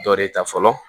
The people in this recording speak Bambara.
Dɔ de ta fɔlɔ